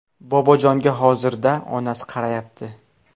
Bobojonga hozirda onasi qarayapti.